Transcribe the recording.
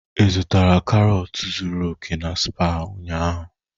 Ị zụtara karọt zuru oke na Spar ụnyaahụ?